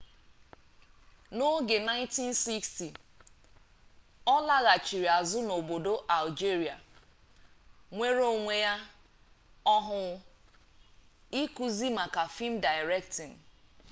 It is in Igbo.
na oge 1960 olaghachiri azu n'obodo algeria nwere onwe ya ohuu ikuzi maka film directing